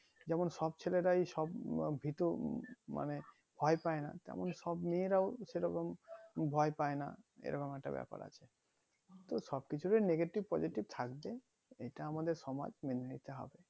যেমন সব ছেলেরাই সব ভীতু মানে ভয় পাইনা তেমন সব মেয়েরাও সেরকম ভয় পাইনা এরকম একটা ব্যাপার আছে তো সব কিছুতে positive negative থাকবে এটা আমাদের সমাজ মেনে নিতে হবে